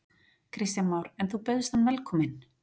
Kristján Már: En þú bauðst hann velkomin?